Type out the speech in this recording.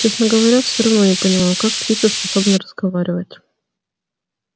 честно говоря все равно не понимаю как птица способна разговаривать